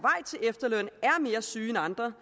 efterløn er mere syge end andre